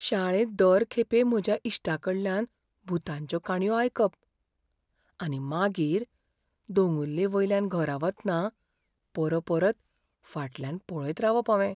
शाळेंत दर खेपे म्हज्या इश्टांकडल्यान भुतांच्यो काणयो आयकप, आनी मागीर दोंगुल्लेवयल्यान घरा वतना परपरत फाटल्यान पळयत रावप हावें.